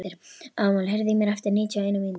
Amal, heyrðu í mér eftir níutíu og eina mínútur.